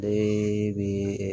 Ee bi ɛ